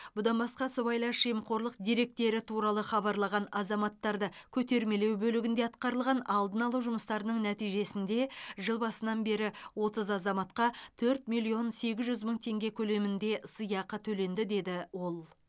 бұдан басқа сыйбайлас жемқорлық деректері туралы хабарлаған азаматтарды көтермелеу бөлігінде атқарылған алдын алу жұмыстарының нәтижесінде жыл басынан бері отыз азаматқа төрт миллион сегіз жүз мың теңге көлемінде сыйақы төленді деді ол